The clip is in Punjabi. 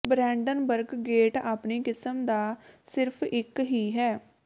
ਬਰੈਂਡਨਬਰਗ ਗੇਟ ਆਪਣੀ ਕਿਸਮ ਦਾ ਸਿਰਫ ਇੱਕ ਹੀ ਹੈ